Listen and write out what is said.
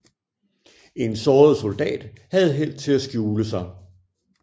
En såret soldat havde held til at skjule sig